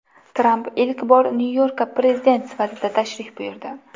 Tramp ilk bor Nyu-Yorkka prezident sifatida tashrif buyurdi.